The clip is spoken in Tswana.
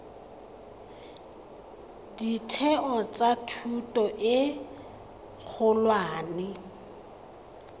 ditheo tsa thuto e kgolwane